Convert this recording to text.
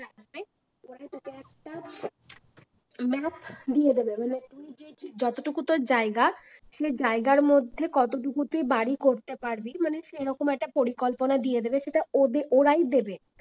পরে তোকে একটা map দিয়ে দেবে মানে তুই যেই যতটুকু তোর জায়গা, সেই জায়গার মধ্যে কতটুকু তুই বাড়ি পারবি? মানে সেরকম একটা পরিকল্পনা দিয়ে দেবে। সেটা ওদের ওরাই দিয়ে দেবে